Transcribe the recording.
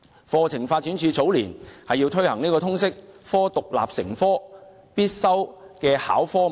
課程發展處早年硬推通識科為獨立核心必修必考的科目。